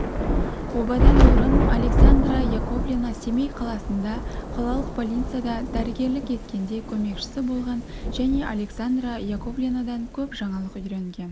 обадан бұрын александра яковлевна семей қаласында қалалық больницада дәрігерлік еткенде көмекшісі болған және александра яковлевнадан көп жаңалық үйренген